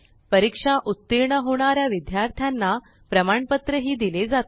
परीक्षा उत्तीर्ण होणार्या विद्यार्थाना प्रमाणपत्र ही दिले जाते